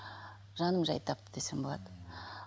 жаным жай тапты десем болады